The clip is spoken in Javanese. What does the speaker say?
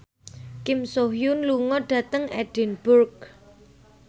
Kim So Hyun lunga dhateng Edinburgh